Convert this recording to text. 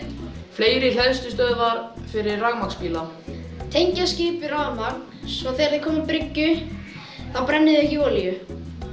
fleiri hleðslustöðvar fyrir rafmagnsbíla tengja skip við rafmagn svo þegar þau koma bryggju þá brenni þau ekki olíu